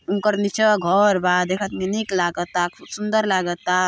उंकर नीचवा घर बा देखत में नीक लागता खूब सुंदर लागता।